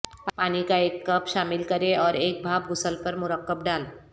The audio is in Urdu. پانی کا ایک کپ شامل کریں اور ایک بھاپ غسل پر مرکب ڈال